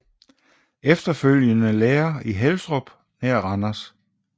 Efterfølgende lærer i Helstrup nær Randers